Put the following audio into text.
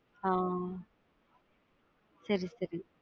ஆஹ் சரி சரி.